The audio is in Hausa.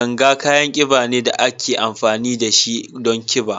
Ganga kayan kida ne da ake amfani da shi don kiɗa.